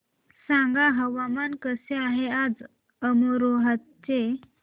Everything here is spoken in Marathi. सांगा हवामान कसे आहे आज अमरोहा चे